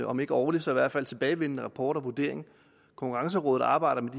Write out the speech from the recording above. om ikke årlig så i hvert fald tilbagevendende rapport og vurdering konkurrencerådet arbejder